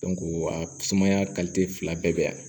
a sumaya fila bɛɛ bɛ yan